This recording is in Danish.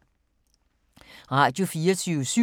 Radio24syv